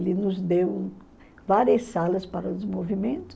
Ele nos deu várias salas para os movimentos.